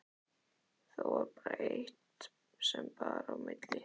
Þó var eitt sem bar á milli.